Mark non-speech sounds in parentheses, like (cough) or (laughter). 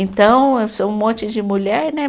Então, (unintelligible) um monte de mulher, né?